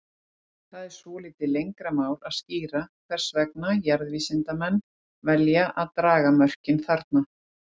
Það er svolítið lengra mál að skýra hvers vegna jarðvísindamenn velja að draga mörkin þarna.